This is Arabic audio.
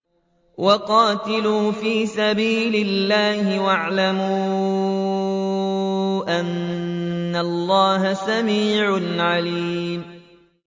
وَقَاتِلُوا فِي سَبِيلِ اللَّهِ وَاعْلَمُوا أَنَّ اللَّهَ سَمِيعٌ عَلِيمٌ